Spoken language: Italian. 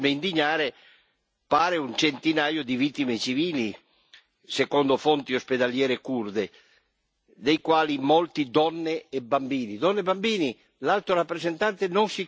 Ma quel che più ci dovrebbe indignare pare un centinaio di vittime civili, secondo fonti ospedaliere curde, dei quali molti donne e bambini.